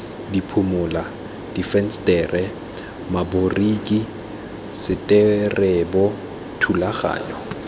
diphimola difensetere maboriki seterebo thulaganyo